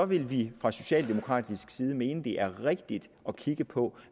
vil vi fra socialdemokratisk side mene at det er rigtigt at kigge på